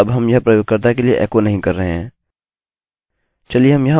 चलिए हम यहाँ ऊपर जाते हैं और लिखते हैं error reporting